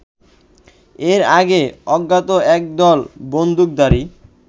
এর আগে অজ্ঞাত একদল বন্দুকধারী